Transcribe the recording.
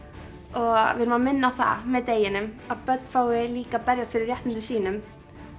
og við erum að minna á það með deginum að börn fái líka að berjast fyrir réttindum sínum